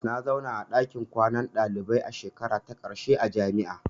Na zauna a ɗakin kwanan dalibai a shekarata ta ƙarshe a jami'a.